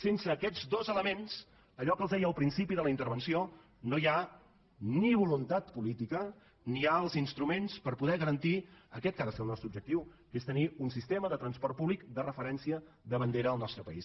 sense aquests dos elements allò que els deia al principi de la intervenció no hi ha ni voluntat política ni hi ha els instruments per poder garantir aquest que ha de ser el nostre objectiu que és tenir un sistema de transport públic de referència de bandera al nostre país